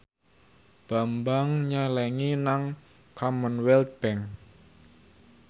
Bambang nyelengi nang Commonwealth Bank